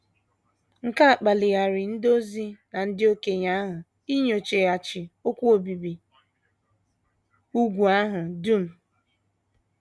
Nke a kpaliri ndị ozi na ndị okenye ahụ inyochaghachi okwu obibi úgwù ahụ dum.